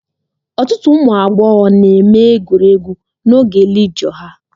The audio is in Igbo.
Ọtụtụ ụmụ agbọghọ na-eme egwuregwu n'oge lijọ ha